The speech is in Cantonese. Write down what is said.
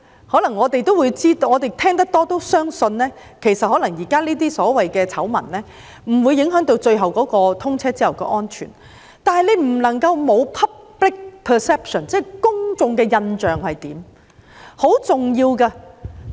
可能我們聽得多也相信，現時這些所謂"醜聞"不會影響通車後的安全，但不能夠忽視 public perception， 這是很重要的。